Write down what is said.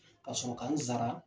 Ka sɔrɔ ka n sara